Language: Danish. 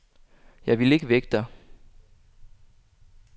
Jeg ville ikke vække dig.